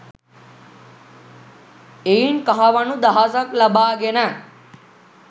එයින් කහවණු දහසක් ලබාගෙන